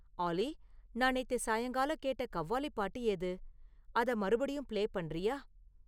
ஆல்லி நான் நேத்து சாயங்காலம் கேட்ட கவ்வாலி பாட்டு எது அத மறுபடியும் பிளே பண்ணுறியா?